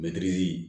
Mɛtiri